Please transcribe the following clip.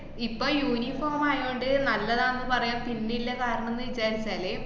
ഇപ്പ uniform ആയകൊണ്ട് നല്ലത് ആന്ന് പറയാം പിന്നെല്ല കാരണംന്ന് വിചാരിച്ചാല്